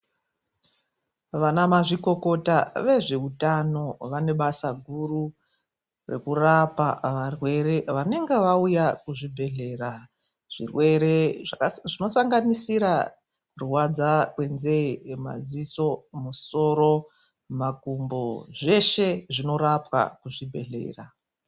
Vana mazvikokota vezveutano vane basa guru rekurapa varwere vanenge vauya kuzvibhedhlera. Zvirwere zvinosanganisira kurwadza kwenzee, madziso, musoro, makumbo zveshe, zvinorapwa kuzvibhedhlera.